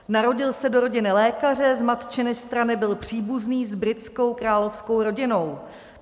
Narodil se do rodiny lékaře, z matčiny strany byl příbuzný s britskou královskou rodinou.